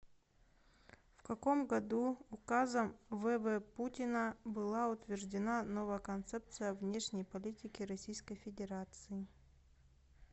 в каком году указом в в путина была утверждена новая концепция внешней политики российской федерации